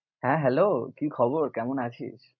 হ্যাঁ, hello কি খবর কেমন আছিস?